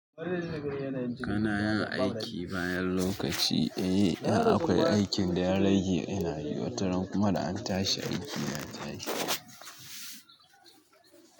Kana yin aiki bayan lokaci, eh in akwai aikin da ya rage ina yi, wataran kuma da an tashi aiki na tashi.